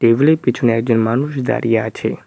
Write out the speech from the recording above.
Table -এর পিছনে একজন মানুষ দাঁড়িয়ে আছে।